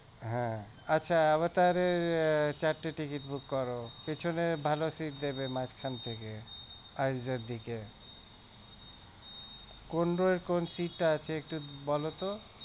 আচ্ছা আমার তাহলে চারটে ticket book করো পিছনের ভালো seat দেখে দেবে মাঝখান থেকে দিকে কোন row এর কোন seat টা আছে একটু বলতো